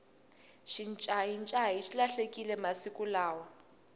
xincayincayi xi lahlekile masiku lawa